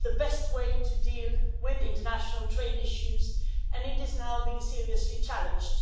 It is the best way to deal with international trade issues and it is now being seriously challenged.